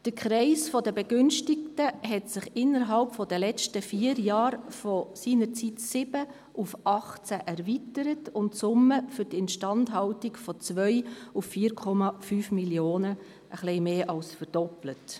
Der Kreis der Begünstigten hat sich inner- halb der vergangenen vier Jahre von seinerzeit 7 auf 18 erweitert, und die Summe für die Instandhaltung hat sich von 2 auf 4,5 Mio. Franken ein wenig mehr als verdoppelt.